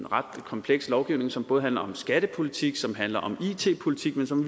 ret kompleks lovgivning som både handler om skattepolitik som handler om it politik men som